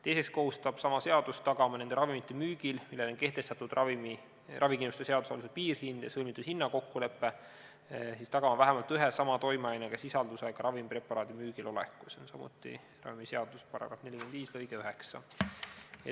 Teiseks kohustab sama seadus tagama nende ravimite müügil, millele on kehtestatud ravikindlustuse seaduse alusel piirhind ja sõlmitud hinnakokkulepe, vähemalt ühe sama toimeaine sisaldusega ravimpreparaadi müügiloleku, see on ravimiseaduse § 45 lõige 9.